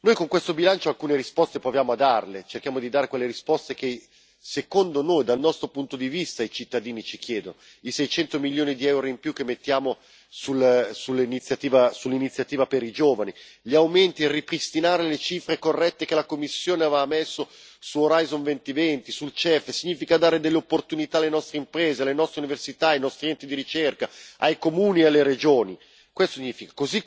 Con questo bilancio proviamo a dare alcune risposte, cerchiamo di dare quelle risposte che, secondo noi, dal nostro punto di vista, i cittadini ci chiedono i 600 milioni di euro in più che mettiamo sull'iniziativa per i giovani, gli aumenti per ripristinare le cifre corrette che la Commissione aveva messo su Orizzonte 2020, sul CEF, tutto questo significa dare delle opportunità alle nostre imprese, alle nostre università, ai nostri enti di ricerca, ai comuni e alle regioni, questo significa.